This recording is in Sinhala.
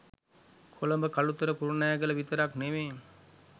කොළඹ කළුතර කුරුණෑගල විතරක් නෙවේ